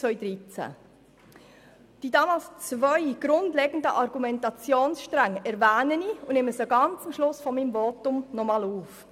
Ich erwähne die damals zwei grundlegenden Argumentationsstränge, und nehme sie ganz am Schluss meines Votums noch einmal auf.